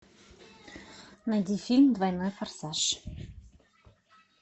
найди фильм двойной форсаж